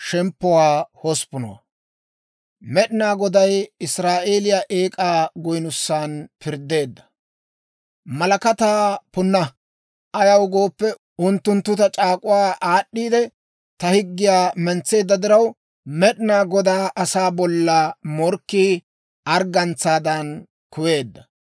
«Malakataa punna! Ayaw gooppe, unttunttu ta c'aak'uwaa aad'd'iidde, ta higgiyaa mentseedda diraw, Med'inaa Godaa asaa bolla morkkii arggantsaadan kuweedda.